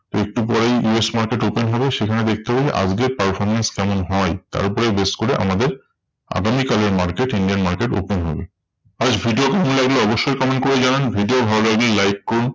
একটু পরেই US market open হবে সেখানে দেখতে পাবো আজকের performance কেমন হয়? তার উপরে base করে আমাদের আগামী কালের market Indian market open হবে। আজ video কেমন লাগলো অবশ্যই comment করে জানান। video ভালো লাগলে like করুন।